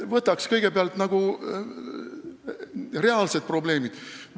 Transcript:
Võtaks kõigepealt reaalsed probleemid käsile!